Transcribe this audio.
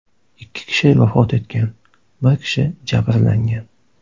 Ikki kishi vafot etgan, bir kishi jabrlangan.